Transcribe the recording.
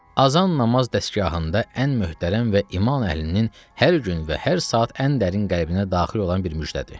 Azan namaz dəstgahında ən möhtərəm və iman əhlinin hər gün və hər saat ən dərin qəlbinə daxil olan bir müjdədir.